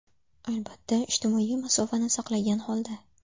Albatta, ijtimoiy masofani saqlagan holda.